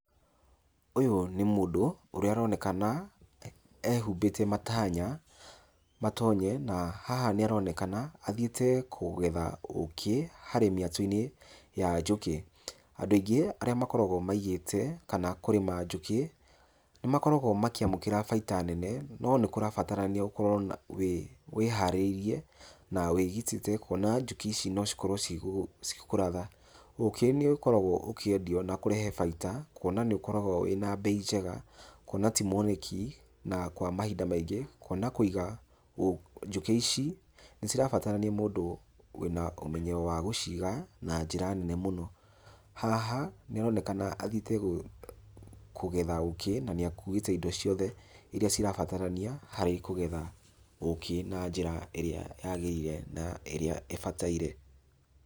Ũyũ nĩ mũndũ ũrĩa aronekana ehumbĩte matanya, matonye, na haha nĩ aronekana athiĩte kũgetha ũkĩ harĩ mĩatũ-inĩ ya njũkĩ. Andũ aingĩ arĩa makoragwo maigĩte kana kũrĩma njũkĩ nĩ makoragwo makĩamukĩra faida nene no nĩ kũrabatarania ũkorwo wĩ ĩharĩrĩirie na wĩgitĩte kũona njũkĩ ici no cikorwo cigĩkũratha. Ũkĩ nĩ ũkoragwo ũkĩendio na kũrehe faida kũona nĩ ũkoragwo wĩna mbei njega, kũona ti mwoneki, na kwa mahinda maingĩ, kũona kuiga njũkĩ ici nĩ cirabatarania mũndũ wĩna ũmenyo wa gũciiga na njĩra nene mũno. Haha nĩ aronekana nĩ athiĩte kũgetha ũkĩ na nĩ akuĩte indo ciothe iria cirabatarania harĩ kũgetha ũkĩ na njĩra ĩrĩa yagĩrĩire na ĩrĩa ĩbataire.